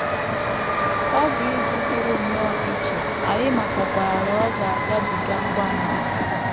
“ Ọ bụ izu pụrụ nnọọ iche, anyị matakwara na ọ ga - agabiga ngwa ngwa.